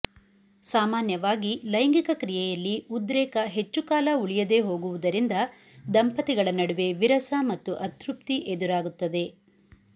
ಸಾಮಾನ್ಯವಾಗಿ ಲೈಂಗಿಕಕ್ರಿಯೆಯಲ್ಲಿ ಉದ್ರೇಕ ಹೆಚ್ಚು ಕಾಲ ಉಳಿಯದೇ ಹೋಗುವುದರಿಂದ ದಂಪತಿಗಳ ನಡುವೆ ವಿರಸ ಮತ್ತು ಅತೃಪ್ತಿ ಎದುರಾಗುತ್ತದೆ